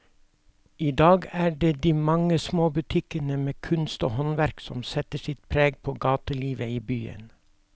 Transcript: I dag er det de mange små butikkene med kunst og håndverk som setter sitt preg på gatelivet i byen.